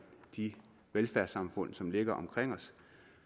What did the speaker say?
de velfærdssamfund som ligger omkring os